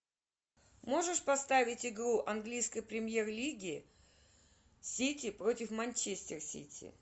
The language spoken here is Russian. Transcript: можешь поставить игру английской премьер лиги сити против манчестер сити